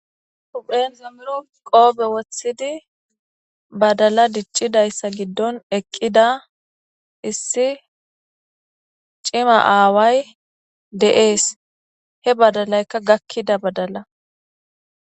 Huphe zemiro qope wothidi badalla dicidaysa gidon eqida issi CIMA away de'es he badalayka gakida badalla